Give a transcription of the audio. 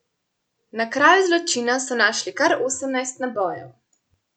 Na kraju zločina so našli kar osemnajst nabojev.